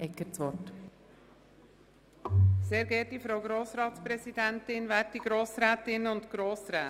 Dazu erteile ich der Regierungsrätin das Wort.